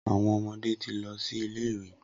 Awọn ọmọde ti lọ si ile-iwe.